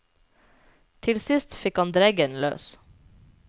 Til sist fikk han dreggen løs.